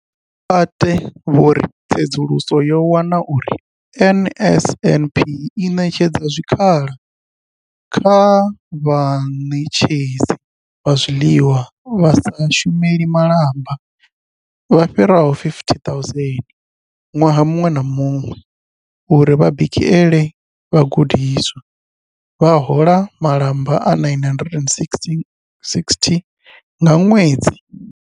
Mathe vho ri Tsedzuluso yo wana uri NSNP i ṋetshedza zwikhala kha vhaṋetshedzi vha zwiḽiwa vha sa shumeli malamba vha fhiraho 50 000 ṅwaha muṅwe na muṅwe uri vha bikele vhagudiswa, vha hola malamba a R960 nga ṅwedzi.